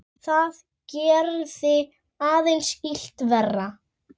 Það gerði aðeins illt verra.